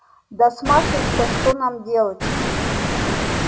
да с машей то что нам делать